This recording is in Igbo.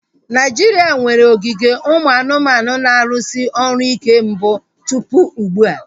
Naijiria nwere ogige ụmụ anụmanụ na-arụsị ọrụ ike mbụ tụpụ ugbua